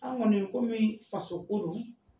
An kɔni ko min faso ko don